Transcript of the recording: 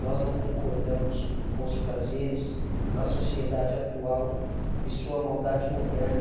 Nós não concordamos com os prazeres da sociedade atual e sua maldade moderna.